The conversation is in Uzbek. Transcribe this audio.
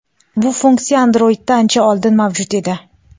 Bu funksiya Androidda ancha oldin mavjud edi.